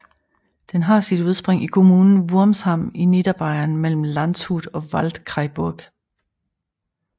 Den har sit udspring i kommunen Wurmsham i Niederbayern mellem Landshut og Waldkraiburg